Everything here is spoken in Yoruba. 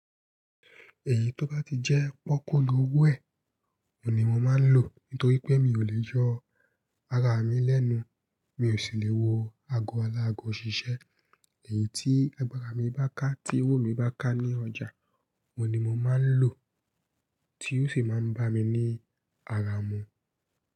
Èyí tó bá ti jẹ́ pọ́kú lówó ẹ̀, òun ni mo má ń lò. Nítorí pé mi ò lè yọ ara mi lẹ́nu, mi ò sì lè wọ ago alágọ̀ ṣíṣẹ́. Èyí tí agbára mi bá ká, tí owó mi bá ká ní ọjà, òun ni mo má ń lò tí ó sì máa ń bá mi ní ara mú.